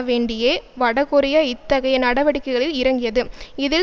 வேண்டியே வடகொரிய இத்தகைய நடவடிக்கைகளில் இறங்கியது இதில்